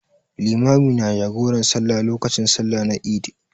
Limami na jagoran sallah lokacin sallah na Eid.